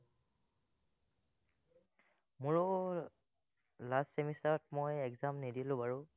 মোৰো, last semester ত মই exam নিদিলো বাৰু,